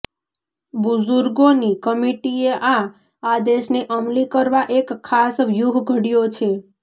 બુઝુર્ગોની કમિટીએ આ આદેશને અમલી કરવા એક ખાસ વ્યૂહ ઘડયો છે